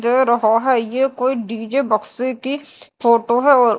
दे रहा है ये कोई डी_जे बक्से की फोटो है और--